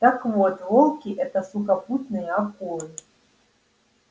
так вот волки это сухопутные акулы